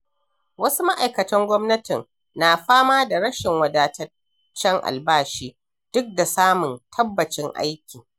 Wasu ma’aikatan gwamnati na fama da rashin wadataccen albashi, duk da samun tabbacin aiki.